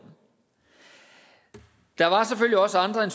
der var selvfølgelig også andre end